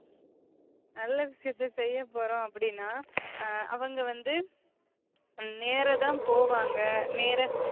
நல்ல விஷயத்த செய்ய போறோம் அப்டினா அவுங்க வந்து நேரே தான் போவாங்க நேர